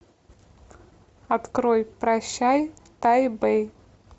открой прощай тайбэй